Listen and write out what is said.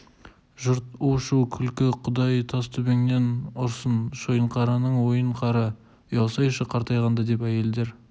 жұрт у-шу күлкі құдай тас төбеңнен ұрсын шойынқараның ойын қара ұялсайшы қартайғанда деп әйелдер